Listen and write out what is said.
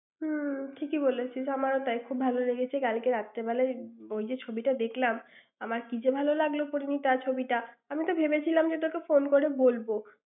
উম ঠিক এই বলেছিস। আমারও তাই খুব ভাল লেগেছে, কালকে রাত্রে বেলায় ওই ছবিটা দেখলাম, আমার কী যে ভালো লাগল পরিণীতা ছবিটা। আমি তো ভেবেছিলাম যে তোকে phone করে বলব।